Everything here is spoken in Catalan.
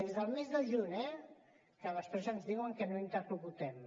des del mes de juny eh que després ens diuen que no interlocutem